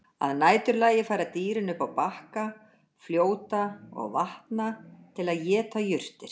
Að næturlagi fara dýrin upp á bakka fljóta og vatna til að éta jurtir.